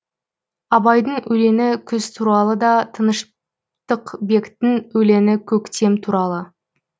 абайдың өлеңі күз туралы да тыныштықбектің өлеңі көктем туралы